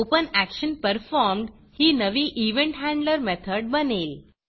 OpenActionPerformed ही नवी event handler method बनेल